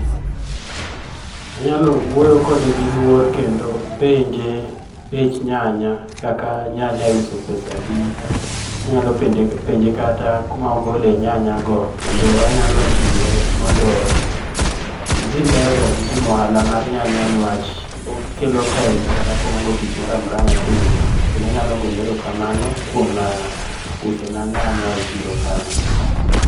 Anyalo wuoyo kode gi luor kendo penje bech nyanya, nyanya iuso pesa adi. Anyalo penje kata kuma ogole nyanyago kendo anyalo jiwe mondo odhi mbele gi ohala mar nyanya niwach okelo pesa koonge tich moro amora motimo. Kendo anyalo gone erokamano kuom usona nyanya e chiro kanyo.